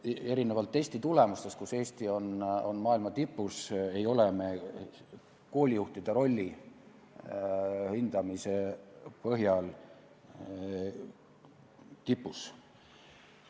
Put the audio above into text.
Erinevalt testitulemustest, mille poolest Eesti on maailma tipus, ei ole me koolijuhtide rolli hindamise põhjal tipus.